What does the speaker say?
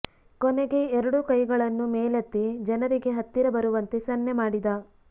ಕೊನೆಗೆ ಎರಡೂ ಕೈಗಳನ್ನು ಮೇಲೆತ್ತಿ ಜನರಿಗೆ ಹತ್ತಿರ ಬರುವಂತೆ ಸನ್ನೆ ಮಾಡಿದ